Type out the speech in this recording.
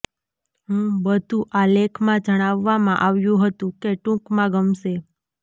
હું બધું આ લેખમાં જણાવવામાં આવ્યું હતું કે ટૂંકમાં ગમશે